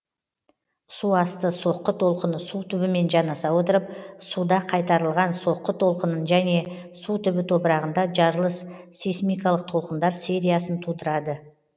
су асты соққы толқыны су түбімен жанаса отырып суда қайтарылған соққы толқынын және су түбі топырағында жарылыс сейсмикалық толқындар сериясын тудырады